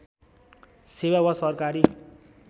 सेवा वा सरकारी